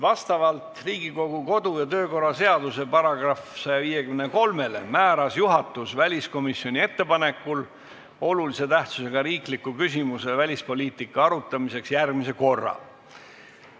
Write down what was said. Vastavalt Riigikogu kodu- ja töökorra seaduse §-le 153 määras juhatus väliskomisjoni ettepanekul selle olulise tähtsusega riikliku küsimuse arutamiseks järgmise korra.